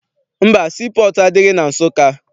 Mba, sii pọọtụ adịghị na Nsụka.